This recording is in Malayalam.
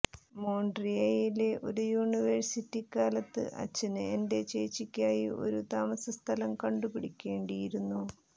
മോണ്ട്രിയലിലെ ഒരു യൂണിവേഴ്സിറ്റിക്കാലത്ത് അച്ഛന് എന്റെ ചേച്ചിക്കായി ഒരു താമസസ്ഥലം കണ്ടുപിടിക്കേണ്ടിയിരുന്നു